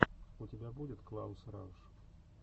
у тебя будет клаус рауш